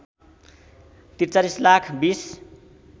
४३ lakh २०